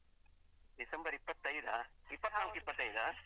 December ಇಪ್ಪತ್ತೈದಾ? ಇಪ್ಪತ್ನಾಕು ಇಪ್ಪತ್ತೈದಾ?